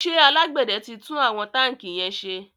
ṣe alágbède tí tún àwọn tanki yén ṣe?